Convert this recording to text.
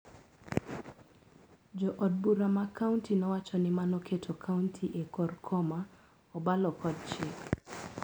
Jood bura ma kaunti nowacho ni mano keto kaunti e kor koma obalo kod chik.